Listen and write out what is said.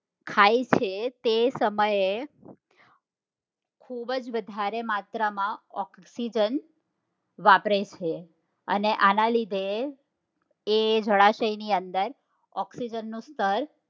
ખાય છે તે સમયે ખુબ જ વધારે માત્રા માં oxygen વાપરે છે અને આના લીધે એ જળાશય ની અંદર oxygen નું સ્તર